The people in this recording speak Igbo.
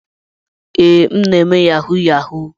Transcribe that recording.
Ee, m na-eme yahoo yahoo.